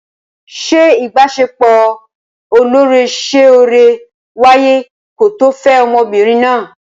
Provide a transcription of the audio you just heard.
Ṣé ìbaṣepọ̀ ọlọ́rẹ̀ẹ́sọ́rẹ̀ẹ́ wáyé ko tó fẹ́ ọmọbìnrin náà?